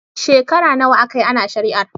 Shekara nawa aka yi ana shari'ar?